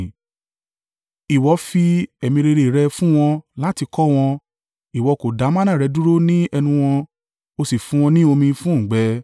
Ìwọ fi ẹ̀mí rere rẹ fún wọn láti kọ́ wọn. Ìwọ kò dá manna rẹ dúró ní ẹnu wọn, ó sì fún wọn ní omi fún òǹgbẹ.